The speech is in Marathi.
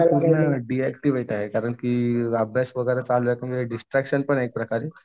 डिऍक्टिव्हेट आहे कारण की अभ्यासवगेरे चालू आहे डिस्ट्रक्शन पण आहे एक प्रकारे.